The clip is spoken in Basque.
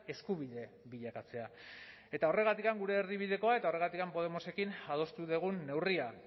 eskubide bilakatzea eta horregatik gure erdibidekoa eta horregatik podemosekin adostu dugun neurria